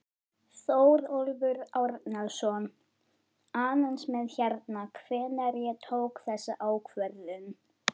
Þórólfur Árnason: Aðeins með hérna, hvenær ég tók þessa ákvörðun?